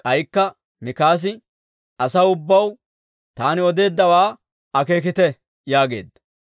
K'aykka Mikaasi, «Asaw ubbaw, taani odeeddawaa akeekite» yaageedda.